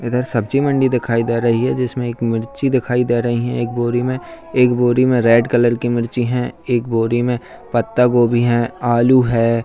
इधर सब्जी मंडी दिखाई दे रही है जिसमें एक मिर्ची दिखाई दे रही है एक बोरी में एक बोरी में रेड कलर की मिर्ची है एक बोरी में पत्तागोभी हैं आलू है।